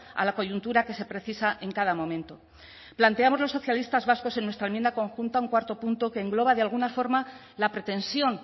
a la coyuntura que se precisa en cada momento planteamos los socialistas vascos en nuestra enmienda conjunta un cuarto punto que engloba de alguna forma la pretensión